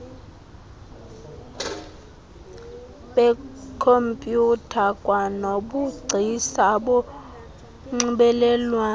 beekhompyutha kwanobugcisa bonxibelelwano